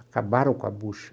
acabaram com a bocha.